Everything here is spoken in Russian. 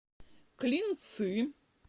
клинцы